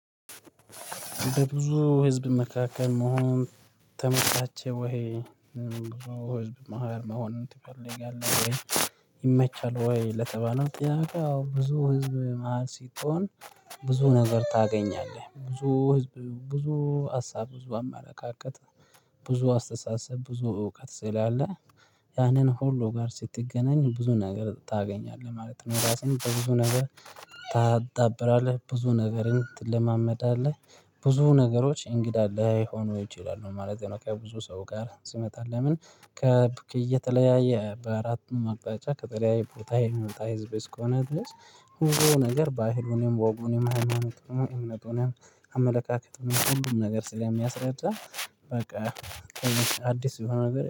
በብዙ ህዝብ መካከል መሆን ተመቻቸ ወይ? ብዙ ህዝብ መሃል መሆን? ይመቻል ወይ ለተባለው ጥያቄ ያው ብዙ ህዝብ መሃል ሲኮን ብዙ ነገር ታገኛለህ ብዙ ህዝብ ብዙ ሀሳብ ብዙ አመለካከት ብዙ አስተሳሰብ ብዙ እውቀት ስላለ ያንን ሁሉ ጋር ስትገናኝ ብዙ ነገር ታገኛለህ ማለት ነው። ራስህን በብዙ ነገር ታጣብራለህ ብዙ ነገርን ትለማመዳለህ ብዙ ነገሮች እንግዳ ላይሆኑ ይችላሉ ማለት ነው። ከብዙ ሰው ጋር ሲመጣ ለምን ከተለያየ በአራቱም አቅጣጫ ከተለያይ ቦታ የሚወጣ ህዝብ እስከሆነ ድረስ። ሁሉ ነገር ባህሉንም ወጉንም ሀይማኖትንም እምነቱንም አመለካከትንም ሁሉም ነገር ስለሚያስረዳ በቃ አዲስ የሆነ ነገር